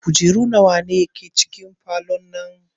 Kujeru nawa ke cikin falon nan?